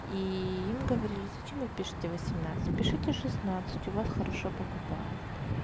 и им говори зачем вы пишете восемнадцать пишете шестнадцать у вас хорошо покупают